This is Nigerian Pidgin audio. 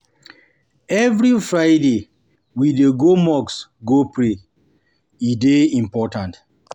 Every Friday, we dey go mosque go pray, e dey important.